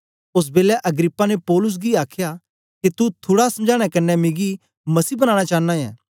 ओस बेलै अग्रिप्पा ने पौलुस गी आखया के तू थुड़ा समझाने कन्ने मिकी मसीह बनाना चांना ऐ